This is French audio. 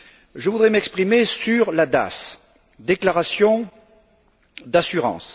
Je voudrais m'exprimer sur la DAS, déclaration d'assurance.